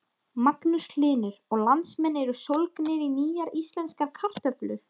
Magnús Hlynur: Og landsmenn eru sólgnir í nýjar íslenskar kartöflur?